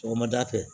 Sɔgɔmada fɛ